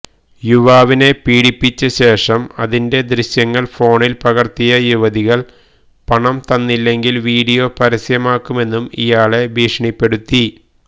യുവാവിനെ പീഡിപ്പിച്ച ശേഷം അതിന്റെ ദൃശ്യങ്ങള് ഫോണില് പകര്ത്തിയ യുവതികള് പണം തന്നില്ലെങ്കില് വീഡിയോ പരസ്യമാക്കുമെന്നും ഇയാളെ ഭീഷണിപ്പെടുത്തി